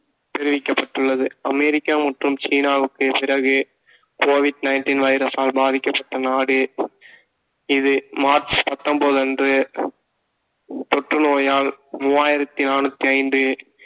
தெரிவிக்கப்பட்டுள்ளது அமெரிக்கா மற்றும் சீனாவுக்கு பிறகு covid nineteen வைரஸால் பாதிக்கப்பட்ட நாடு இது மார்ச் பத்தொன்பது அன்று தொற்று நோயால் மூவாயிரத்தி நானூத்தி ஐந்து